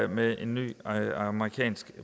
med en ny amerikansk